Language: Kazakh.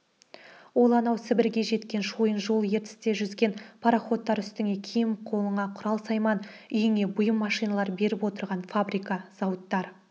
ол анау сібірге жеткен шойын жол ертісте жүзген пароходтар үстіңе киім қолыңа құрал-сайман үйіңе бұйым-машиналар беріп отырған фабрика-зауыттар